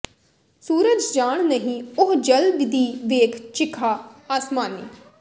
ਸੂਰਜ ਜਾਣ ਨਹੀਂ ਉਹ ਜਲ ਦੀ ਵੇਖ ਚਿਖ਼ਾ ਆਸਮਾਨੀ